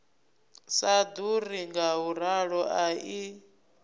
sa ḓuri ngauralo a i